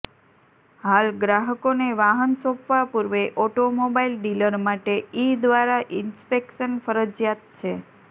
હાલ ગ્રાહકોને વાહન સોંપવા પૂર્વે ઓટોમોબાઇલ ડીલર માટે ઇ્ર્ં દ્વારા ઇન્સ્પેક્શન ફરજિયાત છે